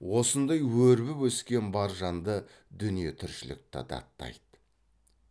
осындай өрбіп өскен бар жанды дүние тіршілікті даттайды